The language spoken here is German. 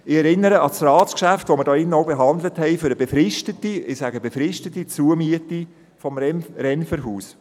Ich erinnere an das Ratsgeschäft, welches wir hier drin auch behandelt haben für eine befristete – ich betone: befristete – Zumiete des Renferhauses.